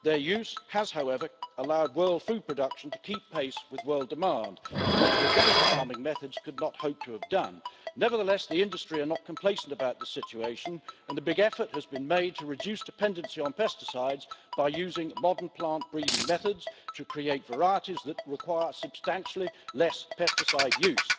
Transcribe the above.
Their use has, however, allowed world food production to keep pace with world demand, which organic farming methods could not hope to have done. Nevertheless, the industry is not complacent about the situation and a big effort has been made to reduce dependency on pesticides by using modern plant breeding methods to create varieties that require substantially less pesticide use.